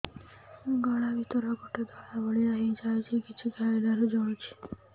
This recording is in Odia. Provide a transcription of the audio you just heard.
ଗଳା ଭିତରେ ଗୋଟେ ଧଳା ଭଳିଆ ହେଇ ଯାଇଛି କିଛି ଖାଇଲାରୁ ଜଳୁଛି